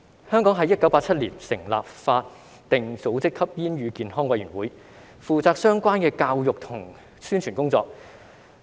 香港在1987年成立法定組織香港吸煙與健康委員會，負責相關的教育和宣傳工作。